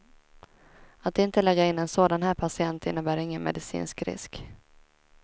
Att inte lägga in en sådan här patient innebär ingen medicinsk risk.